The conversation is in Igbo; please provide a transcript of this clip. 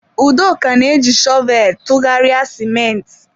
Udoka na-eji shọvel tụgharịa ciment.